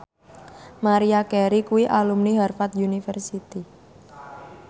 Maria Carey kuwi alumni Harvard university